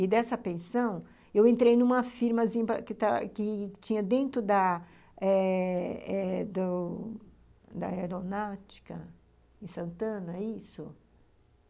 E, dessa pensão, eu entrei numa firmazinha que tinha dentro da eh eh do da aeronáutica em Santana, é isso?